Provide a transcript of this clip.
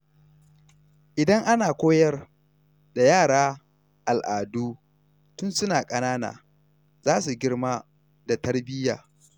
Idan ana koyar da yara al’adu tun suna ƙanana, za su girma da tarbiyya.